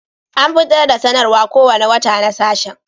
An fitar da sanarwar kowane wata na sashen